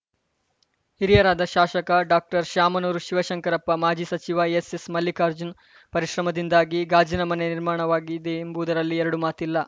ಹಿರಿಯರಾದ ಶಾಸಕ ಡಾಕ್ಟರ್ಶಾಮನೂರು ಶಿವಶಂಕರಪ್ಪ ಮಾಜಿ ಸಚಿವ ಎಸ್‌ಎಸ್‌ಮಲ್ಲಿಕಾರ್ಜುನ್‌ ಪರಿಶ್ರಮದಿಂದಾಗಿ ಗಾಜಿನ ಮನೆ ನಿರ್ಮಾಣವಾಗಿದೆಯೆಂಬುದರಲ್ಲಿ ಎರಡು ಮಾತಿಲ್ಲ